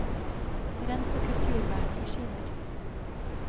Rens og kutt jordbærene i skiver.